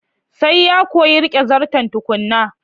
Sai ya koyi rike Zarton tukunna.